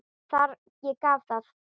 Ég gaf það.